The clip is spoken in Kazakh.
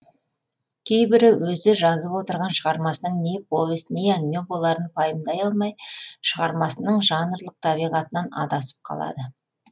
кейбірі өзі жазып отырған шығармасының не повесть не әңгіме боларын пайымдай алмай шығармасының жанрлық табиғатынан адасып қалады